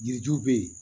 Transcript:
Yiriju bɛ yen